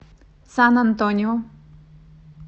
сан антонио